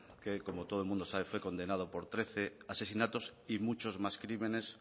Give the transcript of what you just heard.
que como todo el mundo sabe fue condenado por trece asesinatos y muchos más crímenes